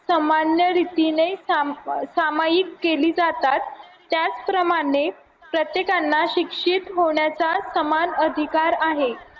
समान्य रीतीने सामायिक केली जातात त्याचप्रमाणे प्रत्येकांना शिक्षित होण्याचा समान अधिकार आहे